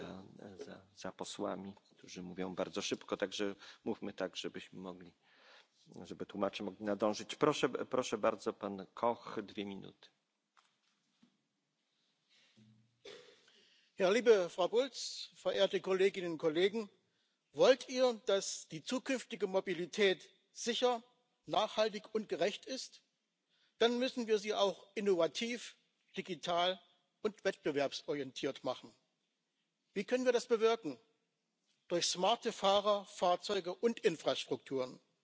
en het is in de eerste plaats voor hen dat we werk moeten maken van een schonere mobiliteit. Daarnaast zullen we meer ambitie aan de dag moeten leggen om onze klimaatdoelstellingen te behalen. Daarvoor moeten beleidsmakers de modal shift nieuwe technologieën en principes als mobiliteit als dienst omkaderen en faciliteren. Mag ik tot slot toch ook even benadrukken dat we nog altijd een sterke Europese concurrentiële automobielsector nodig hebben? Als ik hoor dat het marktaandeel van onze Europese sector de laatste tien